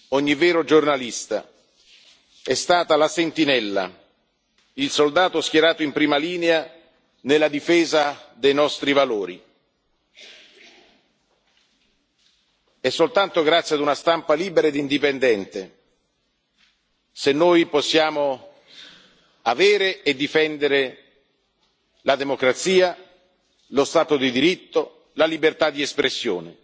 Come ogni vero giornalista, è stata la sentinella, il soldato schierato in prima linea nella difesa dei nostri valori. È soltanto grazie a una stampa libera e indipendente se noi possiamo avere e difendere la democrazia, lo Stato di diritto, la libertà di espressione